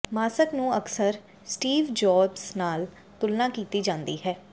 mask ਨੂੰ ਅਕਸਰ Steve Jobs ਨਾਲ ਤੁਲਨਾ ਕੀਤੀ ਜਾਂਦੀ ਹੈ